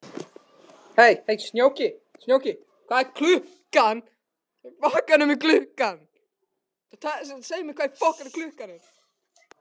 Snjóki, hvað er klukkan?